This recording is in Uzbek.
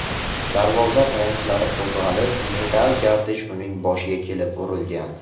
Darvoza tayanchlari qo‘zg‘alib, metall gardish uning boshiga kelib urilgan.